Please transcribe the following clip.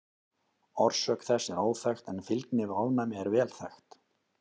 Orsök þess er óþekkt en fylgni við ofnæmi er vel þekkt.